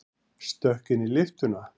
Stökk inn í lyftuna.